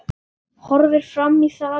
Horfir fram í salinn.